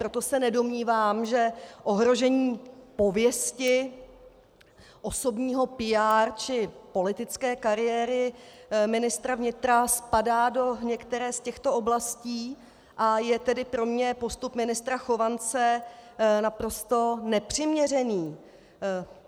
Proto se nedomnívám, že ohrožení pověsti, osobního PR či politické kariéry ministra vnitra spadá do některé z těchto oblastí, a je tedy pro mne postup ministra Chovance naprosto nepřiměřený.